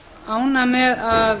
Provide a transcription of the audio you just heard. ánægð með að